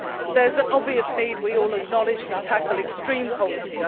There is an obvious need, as we all acknowledge, to tackle extreme poverty.